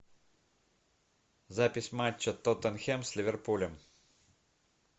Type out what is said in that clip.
запись матча тоттенхэм с ливерпулем